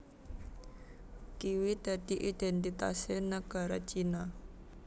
Kiwi dadi idhèntitasé nagara China